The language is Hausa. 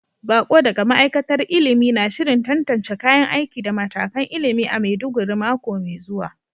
Bako daga ma'aikatar ilimi na shirin tantance kayan aiki da matakan ilimi a Maiduguri mako mai zuwa.